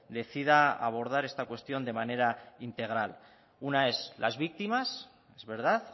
decida abordar esta cuestión de manera integral una es las víctimas es verdad